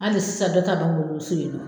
Hali sisan dɔ ta b'an bolo so yen nɔ.